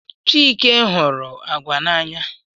Chike hụrụ agwa n'anya.